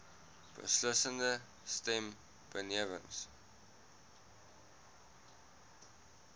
beslissende stem benewens